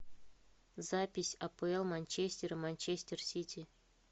запись апл манчестер манчестер сити